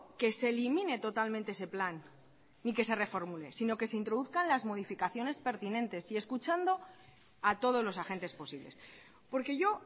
que se elimine totalmente ese plan ni que se reformule sino que se introduzcan las modificaciones pertinentes y escuchando a todos los agentes posibles porque yo